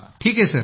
ठीक आहे सर